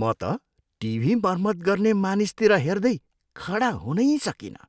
म त टिभी मर्मत गर्ने मानिसतिर हेर्दै खडा हुनै सकिनँ।